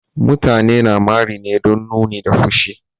Mutane na mari ne don nuni da fushi.